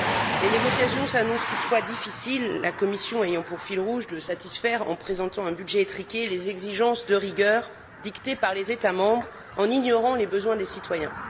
Les négociations s'annoncent toutefois difficiles, la Commission ayant pour fil rouge de satisfaire, en présentant un budget étriqué, les exigences de rigueur dictées par les États membres, en ignorant les besoins des citoyens.